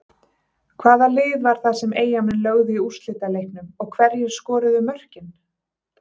Hvaða lið var það sem Eyjamenn lögðu í úrslitaleiknum og hverjir skoruðu mörkin?